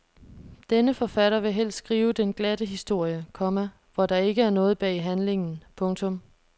Denne forfatter vil helst skrive den glatte historie, komma hvor der ikke er noget bag handlingen. punktum